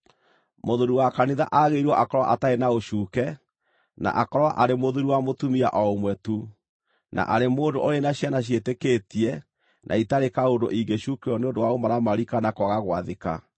Mũthuuri wa kanitha aagĩrĩirwo akorwo atarĩ na ũcuuke, na akorwo arĩ mũthuuri wa mũtumia o ũmwe tu, na arĩ mũndũ ũrĩ na ciana ciĩtĩkĩtie na itarĩ kaũndũ ingĩcuukĩrwo nĩ ũndũ wa ũmaramari kana kwaga gwathĩka.